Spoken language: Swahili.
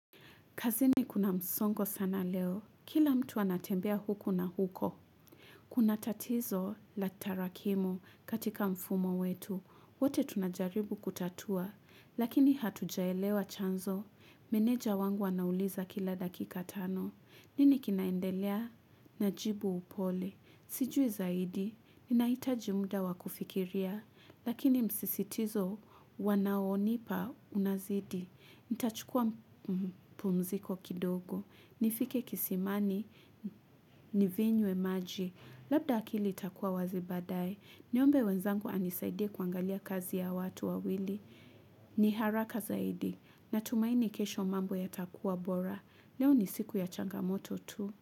Kazini kuna msongo sana leo. Kila mtu anatembea huko na huko. Kuna tatizo la tarakimu katika mfumo wetu. Wote tunajaribu kutatua. Lakini hatujaelewa chanzo. Meneja wangu anauliza kila dakika tano. Nini kinaendelea? Najibu upole. Sijui zaidi. Ninahitaji muda wakufikiria. Lakini msisitizo wanaonipa unazidi. Nita chukua pumziko kidogo nifike kisimani Nivinywe maji Labda akili itakua wazi baadaye Niombe wenzangu anisaidie kuangalia kazi ya watu wawili Niharaka zaidi Natumaini kesho mambo ya takua bora Leo ni siku ya changamoto tu.